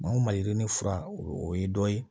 o maliyirinin fura o ye dɔ ye